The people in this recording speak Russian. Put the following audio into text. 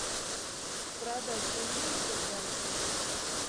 продать тенге в сбербанке